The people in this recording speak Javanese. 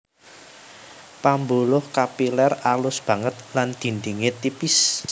Pambuluh kapilèr alus banget lan dindingé tipis